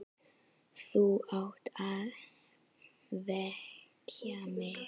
Þú átt að vekja mig.